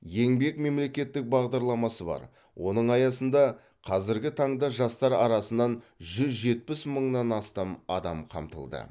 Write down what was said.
еңбек мемлекеттік бағдарламасы бар оның аясында қазіргі таңда жастар арасынан жүз жетпіс мыңнан астам адам қамтылды